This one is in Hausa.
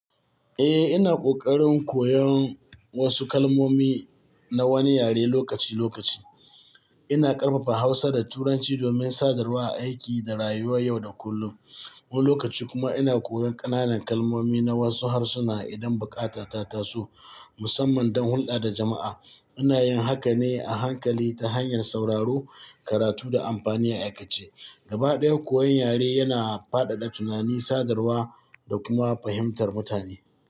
Eh, ina ƙoƙarin koyon wasu kalmomi na wani yare lokaci-lokaci. Ina ƙarfafa Hausa da Turanci domin sadarwa a aiki da rayuwa yau da kullum. Wani lokaci kuma ina koyon ƙananan kalmomi na wasu harsuna idan buƙata ta taso, musamman don hulɗa da jama'a. Ina yin hakan ne a hankali ta hanyar sauraro, karatu da amfani a aikace. Gaba ɗaya, koyon yare yana fadada tunani, sadarwa da kuma fahimtar mutane.